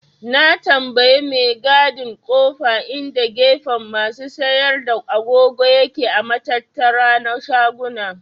Na tambaye mai gadin kofa inda gefen masu siyar da agogo yake a matattara na shaguna.